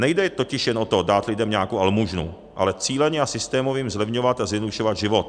Nejde totiž jen o to dát lidem nějakou almužnu, ale cíleně a systémově jim zlevňovat a zjednodušovat život.